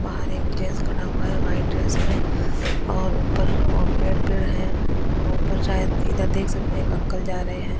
बाहर एक जैंट्स खड़ा हुआ है वाइट ड्रेस में और ऊपर पेड़ पेड़ है और ऊपर शायद इधर देख सकते हैं एक अंकल जा रहे हैं।